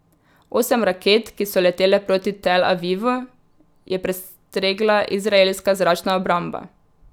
Osem raket, ki so letele proti Tel Avivu, je prestregla izraelska zračna obramba.